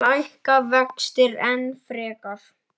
Lækka vextir enn frekar?